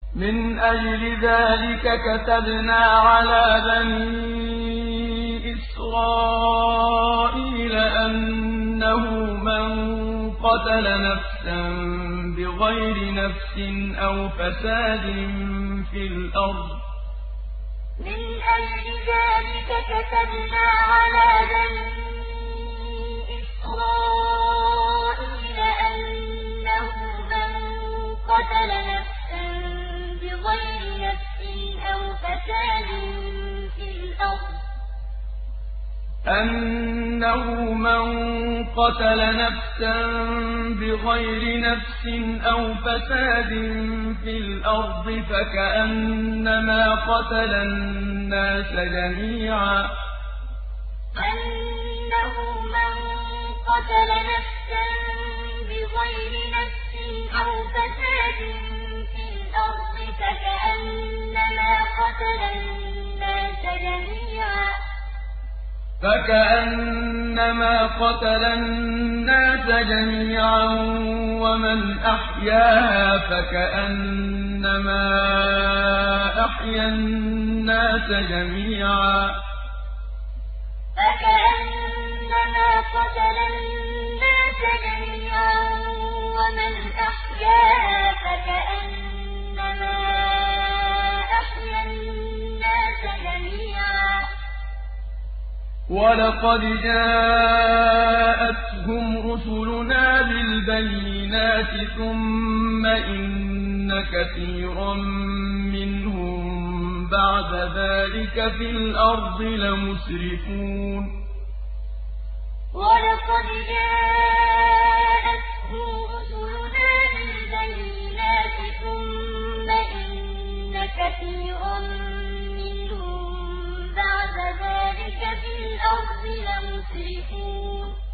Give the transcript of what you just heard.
مِنْ أَجْلِ ذَٰلِكَ كَتَبْنَا عَلَىٰ بَنِي إِسْرَائِيلَ أَنَّهُ مَن قَتَلَ نَفْسًا بِغَيْرِ نَفْسٍ أَوْ فَسَادٍ فِي الْأَرْضِ فَكَأَنَّمَا قَتَلَ النَّاسَ جَمِيعًا وَمَنْ أَحْيَاهَا فَكَأَنَّمَا أَحْيَا النَّاسَ جَمِيعًا ۚ وَلَقَدْ جَاءَتْهُمْ رُسُلُنَا بِالْبَيِّنَاتِ ثُمَّ إِنَّ كَثِيرًا مِّنْهُم بَعْدَ ذَٰلِكَ فِي الْأَرْضِ لَمُسْرِفُونَ مِنْ أَجْلِ ذَٰلِكَ كَتَبْنَا عَلَىٰ بَنِي إِسْرَائِيلَ أَنَّهُ مَن قَتَلَ نَفْسًا بِغَيْرِ نَفْسٍ أَوْ فَسَادٍ فِي الْأَرْضِ فَكَأَنَّمَا قَتَلَ النَّاسَ جَمِيعًا وَمَنْ أَحْيَاهَا فَكَأَنَّمَا أَحْيَا النَّاسَ جَمِيعًا ۚ وَلَقَدْ جَاءَتْهُمْ رُسُلُنَا بِالْبَيِّنَاتِ ثُمَّ إِنَّ كَثِيرًا مِّنْهُم بَعْدَ ذَٰلِكَ فِي الْأَرْضِ لَمُسْرِفُونَ